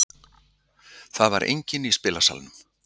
Það var enginn í spilasalnum.